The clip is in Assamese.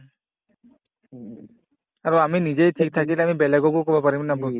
আৰু আমি নিজেই ঠিক থাকিলে আমি বেলেগকো কব পাৰিম না